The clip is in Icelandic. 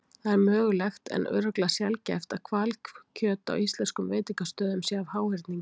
Það er mögulegt en örugglega sjaldgæft að hvalkjöt á íslenskum veitingastöðum sé af háhyrningi.